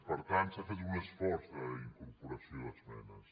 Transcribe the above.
per tant s’ha fet un esforç d’incorporació d’esmenes